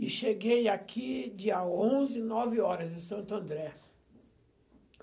E cheguei aqui dia onze, nove horas, em Santo André.